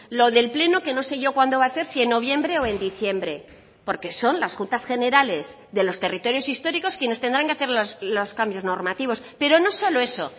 lo del pleno que no sé yo cuando va a ser si en noviembre o en diciembre porque son las juntas generales de los territorios históricos quienes tendrán que hacer los cambios normativos pero no solo eso